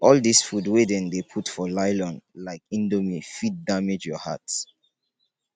all dis food wey dem dey put for nylon like indomie fit damage your heart